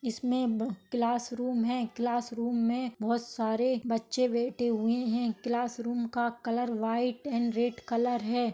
इसमे वो class room है क्लास रूम मे बहुत सारे बच्चे बैठे हुए है क्लास रूम का colour white and red colour है।